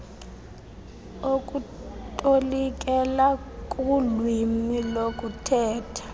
okutolikela kulwimi lokuthetha